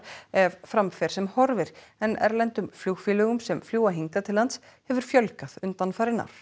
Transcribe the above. ef fram fer sem horfir en erlendum flugfélögum sem fljúga hingað til lands hefur fjölgað undanfarin ár